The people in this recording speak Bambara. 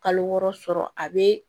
Kalo wɔɔrɔ sɔrɔ a bɛ